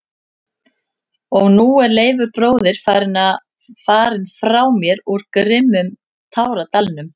Og nú er Leifur bróðir farinn frá mér úr grimmum táradalnum.